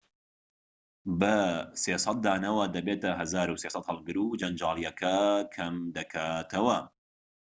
بە ٣٠٠ دانەوە دەبێتە ١٣٠٠ هەڵگر و جەنجاڵیەکە کەم دەکاتەوە